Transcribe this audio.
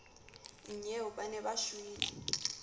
nnyeo ba ne ba shwele